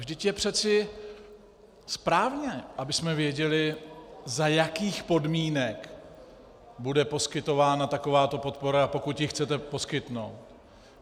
Vždyť je přece správné, abychom věděli, za jakých podmínek bude poskytována takováto podpora, pokud ji chcete poskytnout.